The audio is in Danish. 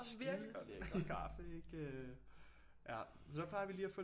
Skidelækker kaffe ikke øh ja så plejer vi lige at få